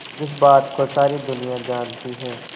जिस बात को सारी दुनिया जानती है